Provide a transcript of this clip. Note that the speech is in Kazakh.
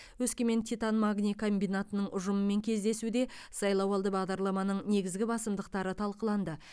өскемен титан магний комбинатының ұжымымен кездесуде сайлауалды бағдарламаның негізгі басымдықтары талқыланды